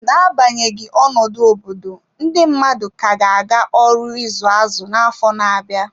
N'agbanyeghị ọnọdụ obodo, ndị mmadụ ka ga-aga ọrụ izu azụ na afọ na-abịa.